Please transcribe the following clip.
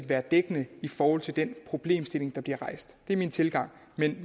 være dækkende i forhold til den problemstilling der bliver rejst det er min tilgang men